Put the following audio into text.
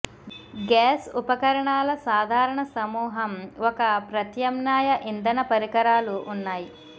gas ఉపకరణాల సాధారణ సమూహం ఒక ప్రత్యామ్నాయ ఇంధన పరికరాలు ఉన్నాయి